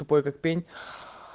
тупой как пень